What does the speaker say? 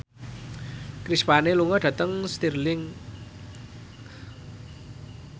Chris Pane lunga dhateng Stirling